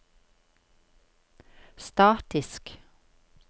statisk